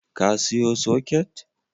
Ka siyo soket?